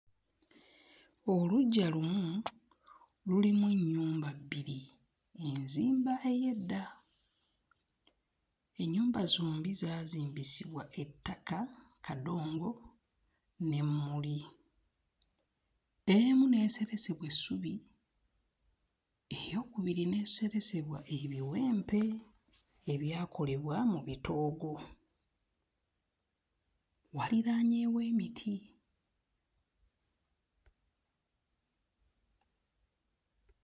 Oluggya lumu lulimu ennyumba bbiri, enzimba ey'edda. Ennyumba zombi zaazimbisibwa ettaka kadongo n'emmuli. Emu lyaseresebwa essubi eyookubiri n'eseresebwa ebiwempe ebyakolebwa mu bitoogo, waliraanyeewo emiti.